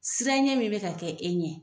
Siran ɲɛ min bɛ ka kɛ e ɲɛ,